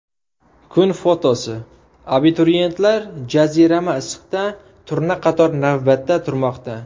Kun fotosi: Abituriyentlar jazirama issiqda turnaqator navbatda turmoqda.